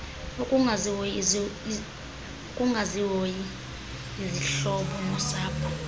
ukungazihoyi izihlobo nosapho